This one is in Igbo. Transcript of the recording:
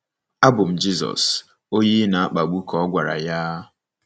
Abụ m Jizọs, onye ị na-akpagbu, ka ọ gwara ya.